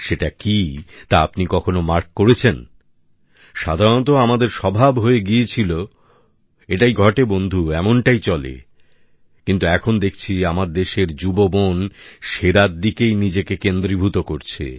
সেটা কি তা আপনি কখনো খেয়াল করেছেন সাধারণত আমাদের স্বভাব হয়ে গিয়েছিল এটাই ঘটে বন্ধু এমনটাই চলে কিন্তু এখন দেখছি আমার দেশের যুব মন সেরার দিকেই নিজেকে কেন্দ্রীভূত করছে